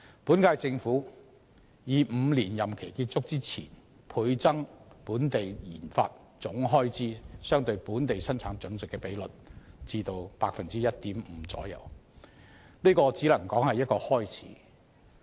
本屆政府以5年任期結束前倍增本地研發總開支相對本地生產總值的比率至 1.5% 為目標，只能說是一個開始。